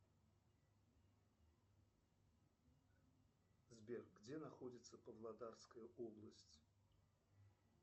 сбер где находится павлодарская область